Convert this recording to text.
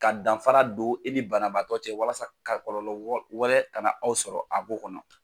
Ka danfa don e ni banabaatɔ cɛ walasa ka kɔlɔlɔ wɛlɛ kana aw sɔrɔ a ko kɔnɔ.